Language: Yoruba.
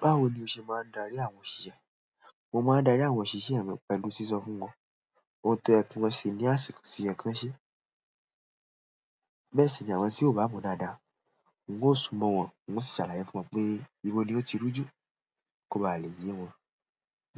Báwo ni o ṣe máa ń darí àwọn òṣìṣẹ́? Mo ma n dari àwọn òṣìṣẹ́ mi, pẹ̀lú siso fún won, oun toye kiwon se ni àsìkò to yen kan se. Bẹ́ẹ̀ sì ni àwọn tí ó bá mo dáadáa, un ó sún mọ́ wọn, un ó sì ṣàlàyé fún wọn pé ìbọ̀ ni ó ti rújú kó ba à le yé wọn